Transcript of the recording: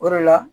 O de la